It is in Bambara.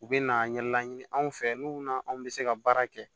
U bɛna ɲɛlaɲini an fɛ n'u na an bɛ se ka baara kɛ